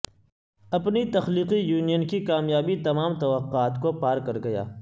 اپنی تخلیقی یونین کی کامیابی تمام توقعات کو پار کر گیا